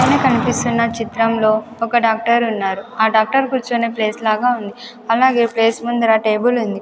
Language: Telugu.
పైన కనిపిస్తున్న చిత్రంలో ఒక డాక్టర్ ఉన్నారు ఆ డాక్టర్ కూర్చునే ప్లేస్ లాగా ఉంది అలాగే ప్లేస్ ముందర టేబుల్ ఉంది.